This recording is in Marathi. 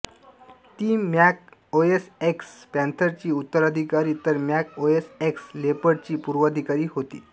ती मॅक ओएस एक्स पॅंथरची उत्तराधिकारी तर मॅक ओएस एक्स लेपर्डची पूर्वाधिकारी होती